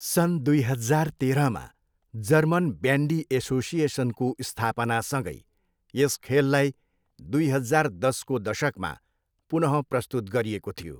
सन् दुई हजार तेह्रमा जर्मन ब्यान्डी एसोसिएसनको स्थापनासँगै यस खेललाई दुई हजार दसको दशकमा पुन प्रस्तुत गरिएको थियो।